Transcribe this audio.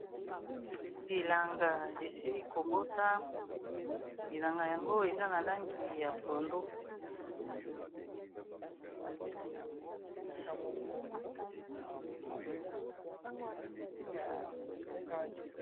bilanga esili kobota bilanga yango eza na langi ya pondo